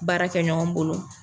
Baara kɛ ɲɔgɔn bolo.